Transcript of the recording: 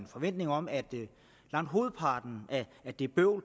forventning om at langt hovedparten af det bøvl og